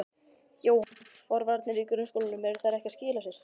Jóhann: Forvarnir í grunnskólum, eru þær ekki að skila sér?